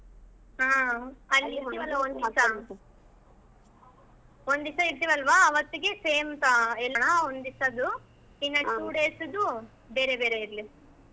ಆಹ್ ಅಲ್ಲಿ ಒಂದ್ ದಿವ್ಸಾ ಇರ್ತಿವಲ್ವಾ ಅವತ್ತಿಗೆ same ಇರೋನಾ ಒಂದ್ ದಿವ್ಸದ್ದು ಇನ್ two days ದ್ದು ಬೇರೆ ಬೇರೆ ಇರ್ಲಿ.